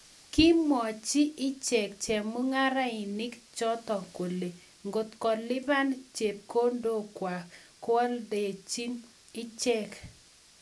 Kimwaiwech icheek chemung'arainik chotok kolee ngotkomakilipan chepkondok kwaak koaldeech icheek